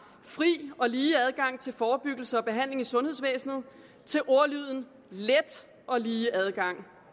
fri og lige adgang til forebyggelse og behandling i sundhedsvæsenet til ordlyden let og lige adgang